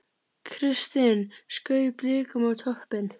Kristinn skaut Blikum á toppinn